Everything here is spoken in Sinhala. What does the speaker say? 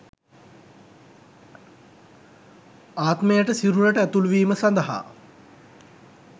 ආත්මයට සිරුරට ඇතුළුවීම සඳහා